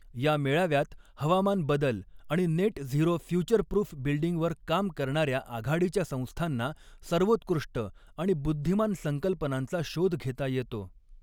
या मेऴाव्यात हवामान बदल आणि नेट झिरो फ्युचरप्रुफ बिल्डिंगवर काम करणार्या आघाडीच्या संस्थांना सर्वोत्कृष्ट आणि बुद्धिमान संकल्पनांचा शोध घेता येतो.